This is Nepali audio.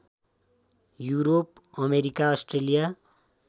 Europe America Australia